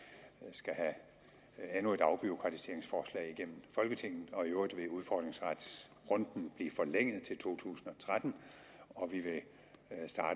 skal have endnu et afbureaukratiseringsforslag igennem folketinget og i øvrigt vil udfordringsretsrunden blive forlænget til to tusind og tretten